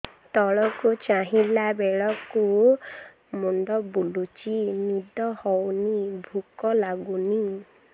ତଳକୁ ଚାହିଁଲା ବେଳକୁ ମୁଣ୍ଡ ବୁଲୁଚି ନିଦ ହଉନି ଭୁକ ଲାଗୁନି